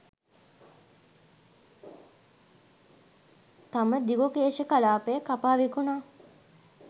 තම දිගුකේශ කලාපය කපා විකුණා